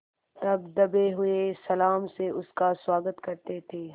तब दबे हुए सलाम से उसका स्वागत करते थे